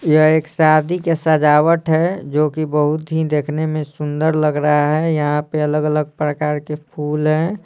यह एक शादी के सजावट है जो कि बहुत ही देखने में सुंदर लग रहा है यहाँ पे अलग-अलग प्रकार के फूल हैं।